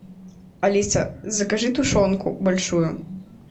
алиса закажи тушенку большую